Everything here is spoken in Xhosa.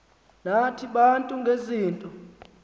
nathi bantu ngezinto